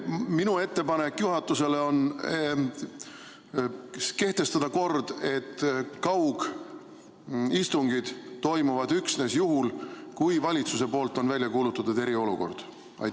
Minu ettepanek juhatusele on kehtestada kord, et kaugistungid toimuvad üksnes juhul, kui valitsus on välja kuulutanud eriolukorra.